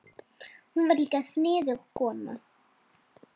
Hún var líka sniðug kona.